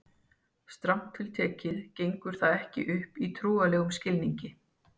Strangt til tekið gengur það ekki upp í trúarlegum skilningi.